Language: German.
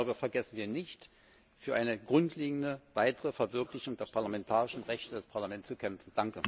Darüber vergessen wir nicht, für eine grundlegende weitere Verwirklichung der parlamentarischen Rechte des Parlaments zu kämpfen.